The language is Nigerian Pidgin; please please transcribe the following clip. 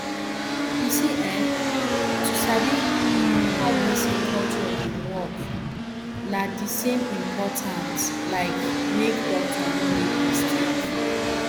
you see[um]to sabi how person culture dey work na the same important like make doctor no make mistake